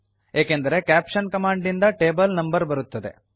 ಏಕೆಂದರೆ caption command ನಿಂದ table number ಬರುತ್ತದೆ